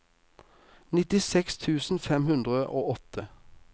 nittiseks tusen fem hundre og åtte